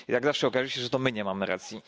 Jak zawsze okaże się, że to my nie mamy racji.